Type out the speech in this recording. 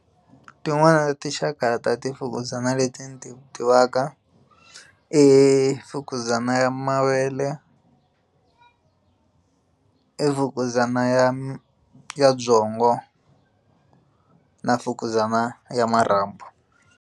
Tin'nwana ta tinxaka ta ti fukuzana leti ti tivaka i fukuzana ya mavele i mfukuzana ya byongo na fukuzana ya marhambu.